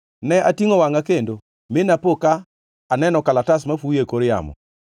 Ne atingʼo wangʼa kendo, mi napo ka aneno kalatas mafuyo e kor yamo!